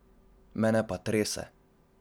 Mene pa trese.